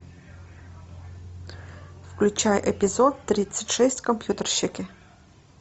включай эпизод тридцать шесть компьютерщики